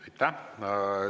Aitäh!